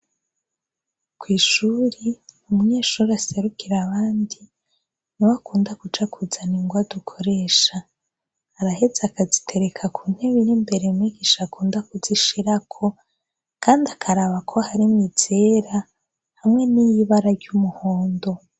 Kw' ishuri, umunyeshur' aserukira abandi niw' akunda kuja kuzan' ingwa dukoresha, arahez' akazitereka ku nteb' irimbere, mwigish' akunda kuzishirako kand' akarabako harimw' izera hamwe niy' ibara ry'umuhondo.